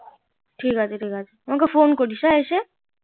ঠিক আছে ঠিক আছে আমাকে phone করিস হ্যাঁ এসে